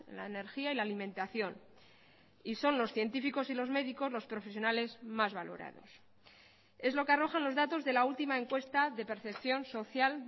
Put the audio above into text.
la energía y la alimentación y son los científicos y los médicos los profesionales más valorados es lo que arrojan los datos de la última encuesta de percepción social